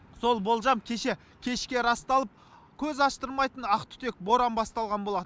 сол болжам кеше кешке расталып көз аштырмайтын ақтүтек боран басталған болатын